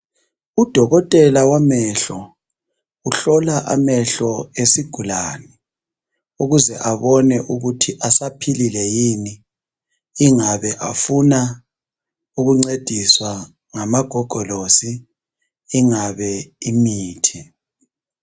Udokotela wamehlo uhlola amehlo esigulani ukuze abone ukuthi asaphilile yini ingabe bafuna ukuncediswa ngamagogolosi ingabe imithi.